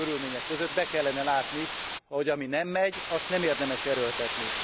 Ilyen körülmények között be kellene látni, hogy ami nem megy, azt nem érdemes erőltetni.